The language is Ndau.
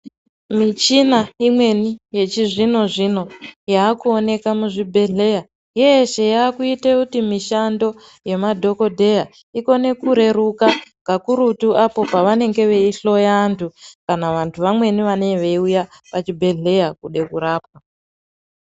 Michina imweni yechizvino-zvino yakuonekwa muzvibhedhlera, yeshe yakuite kuti mishando nemadhokodheya igone kureruka kakurutu apo pavanenge veihloya antu kana vantu vamweni vanee veiuya kuchibhedhlera kude kurapwa.